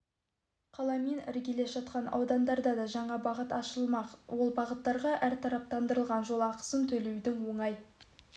қаламен іргелес жатқан аудандарға да жаңа бағыт ашылмақ ол бағыттарға әртараптандырылған жол ақысын төлеудің оңай